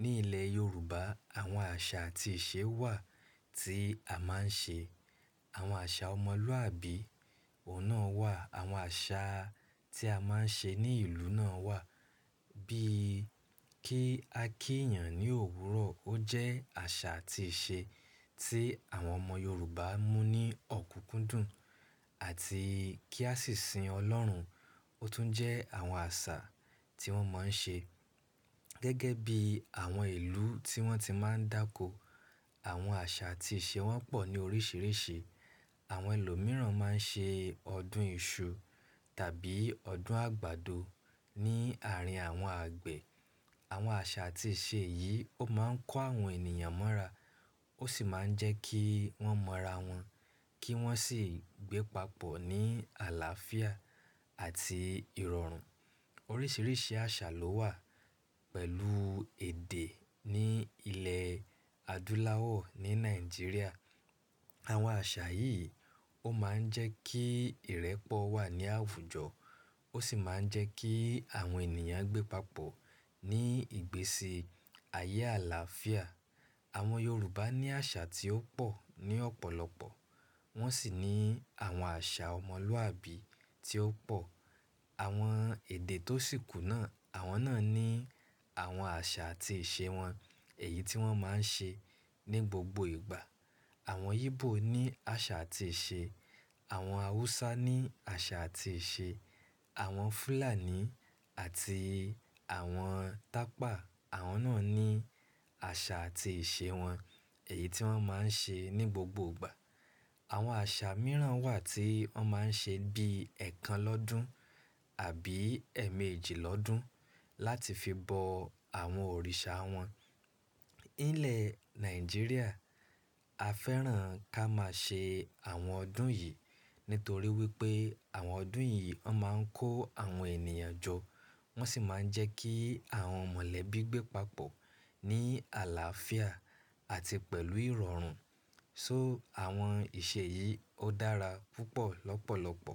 Ní ilẹ̀ Yorùbá àwọn àṣà àti ìṣe wà tí a máa ń ṣe. Àwọn àṣà ọmọlúàbí òun náà wà. Àwọn àṣà tí a máa ń ṣe ní ìlú náà wà bíi kí a kí èèyàn ní òwúrọ̀. Ó jẹ́ àṣà àti ìṣe tí àwọn ọmọ Yorùbá mú ní ọ̀kúnkúndùn àti kí a sì sin Ọlọ́run. Ó tún jẹ́ àwọn àṣà tí wọ́n máa ń ṣe. Gẹ́gẹ́ bí àwọn ìlú tí wọ́n ti máa ń dàkọ, àwọn àṣà àti ìṣe wọn pọ̀ ní oríṣiríṣi. Àwọn ẹlòmíràn máa ń ṣe ọdún iṣu tàbí ọdún àgbàdo ní àárín àwọn àgbẹ̀. Àwọn àṣà àti ìṣe yìí ó máa ń kó àwọn ènìyàn mọ́ra ó sì máa ń jẹ́ kí wọ́n mọra wọn kí wọ́n sì gbé papọ̀ ní àlàáfíà àti ìrọ̀rùn. Oríṣiríṣi àṣà ló wà pẹ̀lú èdè ní ilẹ̀ adúláwọ̀ ní Nàìjíríà. Àwọn àṣà yìí ó máa ń jẹ́ kí ìrẹ́pọ̀ wà ní àwùjọ ó sì máa ń jẹ́ kí àwọn ènìyàn gbé papọ̀ ní ìgbésí ayé àlàáfíà. Àwọn Yorùbá ní àṣà tí ó pọ̀ ní ọ̀pọ̀lọpọ̀. Wọ́n sì ní àwọn àṣà ọmọlúàbí tí ó pọ̀. Àwọn èdè tó sì kù náà, àwọn náà ní àwọn àṣà àti ìṣe wọn, èyí tí wọ́n máa ń ṣe ní gbogbo ìgbà. Àwọn Igbo ní àṣà àti ìṣe, àwọn Hausa ní àṣà àti ìṣe, àwọn Fulani àti àwọn Tapa àwọn náà ní àṣà àti ìṣe wọn, èyí tí wọ́n máa ń ṣe ní gbogbo ìgbà. Àwọn àṣà mìíràn wà tí wọ́n máa ń ṣe bíi ẹ̀kan lọ́dun àbí ẹmẹjì lọ́dun láti fi bọ àwọn òrìṣà wọn. Nílẹ̀ Nàìjíríà a fẹ́ràn ká máa ṣe àwọn ọdún yìí nítorí wípé àwọn ọdún yìí ó máa ń kó àwọn ènìyàn jọ wọ́n sì máa ń jẹ́ kí àwọn mọ̀lẹ́bí gbé papọ̀ ní àlàáfíà àti pẹ̀lú ìrọ̀rùn. So àwọn ìṣe yìí ó dára púpọ̀ lọ́pọ̀lọpọ̀.